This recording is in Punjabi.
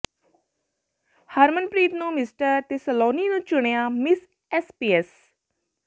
ਹਰਮਨਪ੍ਰੀਤ ਨੂੰ ਮਿਸਟਰ ਤੇ ਸਲੋਨੀ ਨੂੰ ਚੁਣਿਆ ਮਿਸ ਐਸਪੀਐਸ